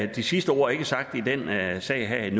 de sidste ord i den her sag er